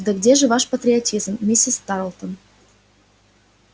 да где же ваш патриотизм миссис тарлтон